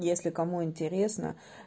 если кому интересно